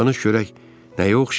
Danış görək nəyə oxşayır?